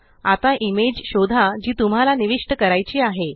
आता इमेज शोधा जी तुम्हाला निविष्ट करायची आहे